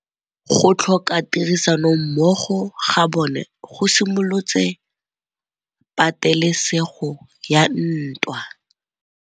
Go tlhoka tirsanommogo ga bone go simolotse patêlêsêgô ya ntwa.